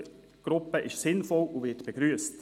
eine Austauschgruppe sei sinnvoll und werde begrüsst.